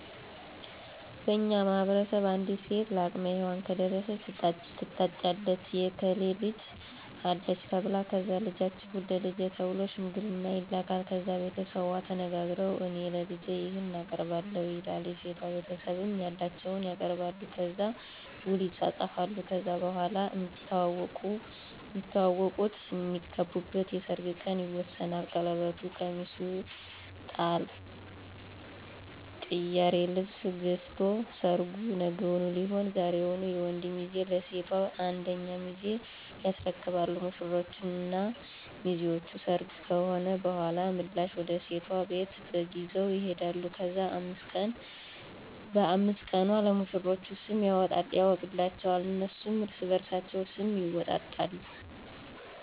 በእኛ ማህበረሰብ አንዲት ሴት ለአቅመ ሄዋን ከደረሰች ትታጫለች የእከሌ ልጅ አለች ተብላ ከዛ ልጃችሁን ለልጃችን ተብሎ ሽምግልና ይላካል። ከዛ ቤተሰቡ ተነጋግረዉ እኔ ለልጄ ይሄን አቀርባለሁ ይላል የሴቷ ቤተሰብም ያላቸዉን ያቀርባሉ። ከዛ ዉል ይፃፃፋሉ ከዛ በኋላ ነዉ እሚተዋወቁት (እሚግባቡት) የሰርጉ ቀን ይወሰናል ቀለበቱ፣ ቀሚሱ፣ ጥላ፣ ቅያሪ ልብስ ገዝቶ ሰርጉ ነገዉን ሊሆን ዛሬዉን የወንዱ ሚዜ ለሴቷ አንደኛ ሚዜ ያስረክባሉ። ሙሽሮች እና ሚዜዎች ሰርጉ ከሆነ በኋላ ምላሽ ወደ ሴቷ ቤት በግ ይዘዉ ይሄዳሉ። ከዛ በ5 ቀኑ ለሙሽሮች ስም ይወጣላቸዋል እነሱም እርስበርሳቸዉ ስም ይወጣጣሉ።